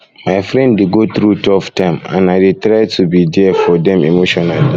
my friend dey go through tough time and i dey try to be there for dem emotionally